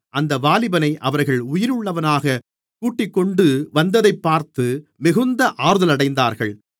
அந்த வாலிபனை அவர்கள் உயிருள்ளவனாகக் கூட்டிக்கொண்டு வந்ததைப் பார்த்து மிகுந்த ஆறுதலடைந்தார்கள்